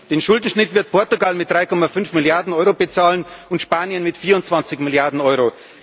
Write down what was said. Nein, den Schuldenschnitt wird Portugal mit 3,5 Milliarden Euro bezahlen und Spanien mit 24 Milliarden Euro.